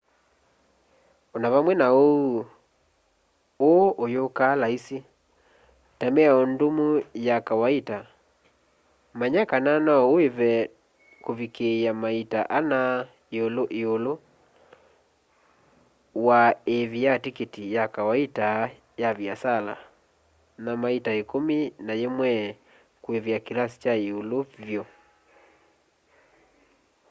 o na vamwe na ũu ũũ ũyũkaa laisi ta mĩao ndũmu ya kawaita manya kana no ũĩve kũvikĩĩa maita ana ĩũlũ wa ĩĩvi ya tikiti ya kawaita ya viasala na maita ĩkũmi na yĩmwe kũĩvĩa kĩlasi kya ĩũlũ vyũ